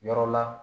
Yɔrɔ la